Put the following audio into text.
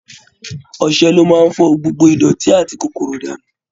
Ọṣẹ ló má ń fọ gbogbo ìdọ̀tí àti kòkòrò dànù